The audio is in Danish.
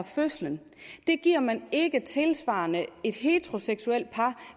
fødsel giver man ikke tilsvarende et heteroseksuelt par